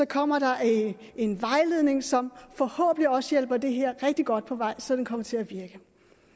kommer der en vejledning som forhåbentlig også hjælper det her rigtig godt på vej så det kommer til at virke